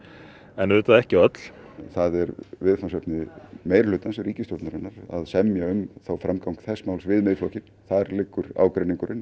en auðvitað ekki öll það er viðfangsefni meirihlutans ríkisstjórnarinnar að semja um framgang þess máls við Miðflokkinn þar liggur ágreiningurinn